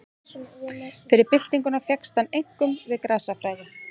Fyrir byltinguna fékkst hann einkum við grasafræði.